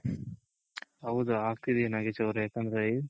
ಹೌದ್ ಆಗ್ತಿದೆ ನಾಗೇಶ್ ಅವ್ರೆ ಯಾಕಂದ್ರೆ